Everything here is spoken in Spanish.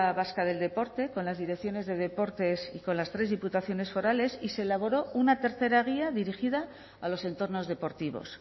vasca del deporte con las direcciones de deportes y con las tres diputaciones forales y se elaboró una tercera guía dirigida a los entornos deportivos